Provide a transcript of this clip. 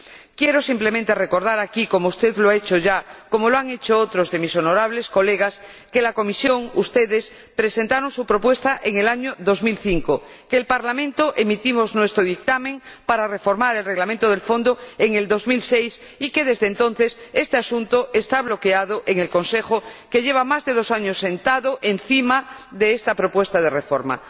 Quiero simplemente recordar aquí, como usted lo ha hecho ya, como lo han hecho otros de mis honorables colegas, que la Comisión presentó su propuesta en el año 2005, que el Parlamento emitió su dictamen para reformar el Reglamento del Fondo en 2006 y que, desde entonces, este asunto está bloqueado en el Consejo, que lleva más de dos años sentado encima de esa propuesta de reforma.